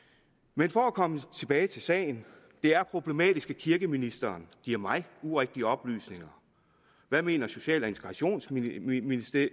men for at komme tilbage til sagen det er problematisk at kirkeministeren giver mig urigtige oplysninger hvad mener social og integrationsministeren